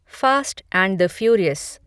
fast and the furious